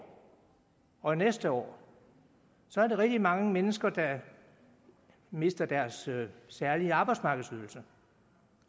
og fra næste år er rigtig mange mennesker der mister deres særlige arbejdsmarkedsydelse